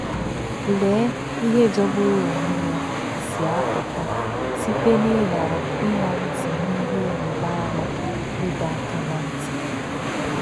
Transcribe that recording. Lee ihe jọgburu onwe ya si apụta site n'ịghara ịṅa ntị n'ihe ịrịba ama ịdọ aka ná ntị!